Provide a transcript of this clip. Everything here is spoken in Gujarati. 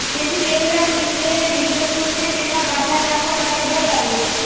તેથી દેવરાજ ઈંન્દ્રએ વિઘનસુરને તેમાં બાધા નાખવા માટે બોલાવ્યો